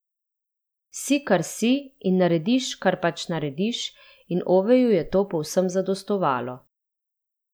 Si, kar si, in narediš, kar pač narediš, in Oveju je to povsem zadostovalo.